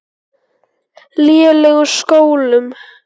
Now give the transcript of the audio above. lélegum skólum.